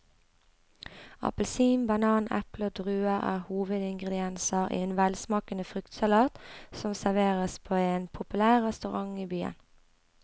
Appelsin, banan, eple og druer er hovedingredienser i en velsmakende fruktsalat som serveres på en populær restaurant i byen.